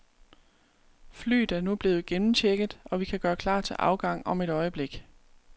Flyet er nu blevet gennemchecket, og vi kan gøre klar til afgang om et øjeblik.